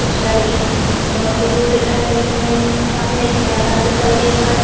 कुछ लड़के दौड़ते हुए दिखाई दे रहे हैं। सामने एक मैदान दिखाई दे रहा है।